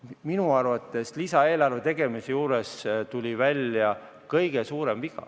Minu arvates tuli lisaeelarve tegemise juures välja kõige suurem viga.